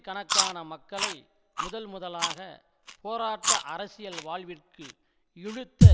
கணக்கான மக்களை முதல் முதலாக போராட்ட அரசியல் வாழ்விற்கு இழுத்த